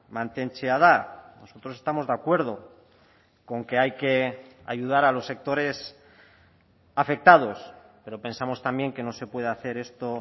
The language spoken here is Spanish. mantentzea da nosotros estamos de acuerdo con que hay que ayudar a los sectores afectados pero pensamos también que no se puede hacer esto